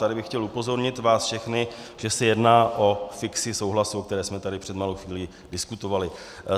Tady bych chtěl upozornit vás všechny, že se jedná o fikci souhlasu, o které jsme tady před malou chvílí diskutovali.